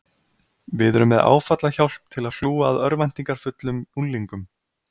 Við erum með áfallahjálp til að hlúa að örvæntingarfullum unglingum